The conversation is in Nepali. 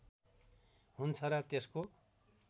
हुन्छ र त्यसको